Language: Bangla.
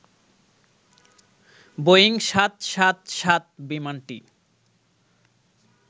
বোয়িং ৭৭৭ বিমানটি